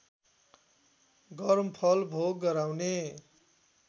गर्मफल भोग गराउने